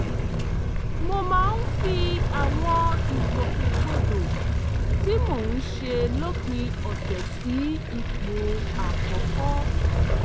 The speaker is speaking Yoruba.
mo máa ń fi àwọn ìgbòkègbodò tí mò ń ṣe lópin ọ̀sẹ̀ sí ipò àkọ́kọ́